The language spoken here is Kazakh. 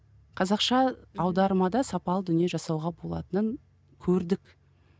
қазақша аудармада сапалы дүние жасауға болатынын көрдік